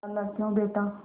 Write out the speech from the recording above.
खालाक्यों बेटा